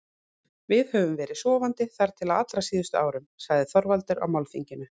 Við höfum verið sofandi þar til á allra síðustu árum, sagði Þorvaldur á málþinginu.